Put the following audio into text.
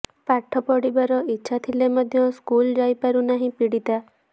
ପାଠ ପଢ଼ିବାର ଇଛା ଥିଲେ ମଧ୍ୟ ସ୍କୁଲ ଯାଇପାରୁନାହିଁ ପୀଡ଼ିତା